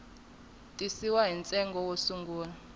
tisiwa ni ntsengo wo sungula